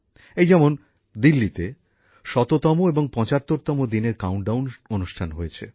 এই যেমন দিল্লিতে শততম এবং ৭৫ তম দিনের কাউন্টডাউন অনুষ্ঠান হয়েছে